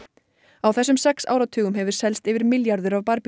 á þessum sex áratugum hefur selst yfir milljarður af